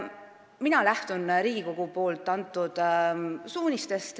Mina lähtun Riigikogu antud suunistest.